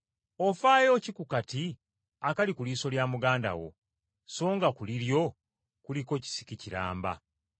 “Ofaayo ki ku kasasiro akali ku liiso lya muganda wo so nga ku liryo kuliko kisiki kiramba?